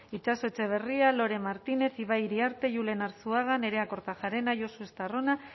itxaso etxebarria lore martinez ibai iriarte julen arzuaga nerea kortajarena josu estarrona